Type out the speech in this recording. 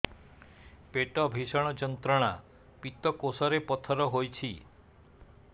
ପେଟ ଭୀଷଣ ଯନ୍ତ୍ରଣା ପିତକୋଷ ରେ ପଥର ହେଇଚି